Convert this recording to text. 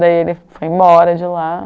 Daí ele foi embora de lá.